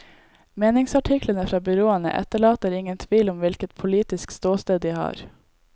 Meningsartiklene fra byråene etterlater ingen tvil om hvilket politisk ståsted de har.